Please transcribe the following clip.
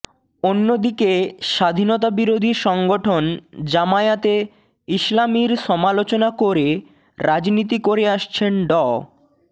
অন্যদিকে স্বাধীনতাবিরোধী সংগঠন জামায়াতে ইসলামীর সমালোচনা করে রাজনীতি করে আসছেন ড